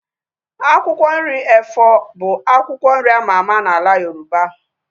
Akwụkwọ nri efọ bụ akwụkwọ nri ama ama n'ala Yoroba